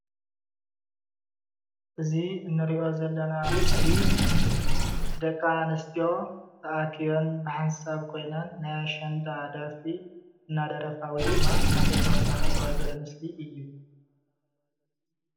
እዚ ምስሊ ደቂ ኣንስትዮ ናይ ኣሸንዳ ደርፈ እንትደርፋ እዩ።